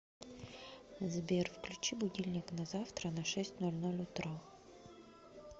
сбер включи будильник на завтра на шесть ноль ноль утра